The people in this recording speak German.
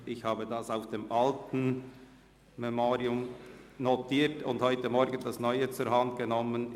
Ich habe den Sitzungsablauf aus der alten Version notiert und heute Morgen die neue zur Hand genommen.